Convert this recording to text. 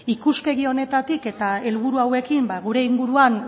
ikuspegi honetatik eta helburu hauekin gure inguruan